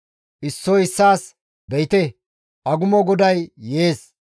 Issoy issaas, «Be7ite! Agumo goday yees.